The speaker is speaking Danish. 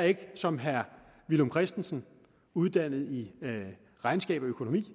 er ikke som herre villum christensen uddannet i regnskab og økonomi